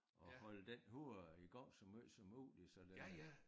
At holde den hoved i gang så måj som muligt så den